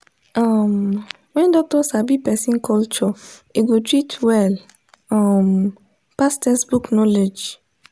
um when doctor sabi person culture e go treat well um pass textbook knowledge.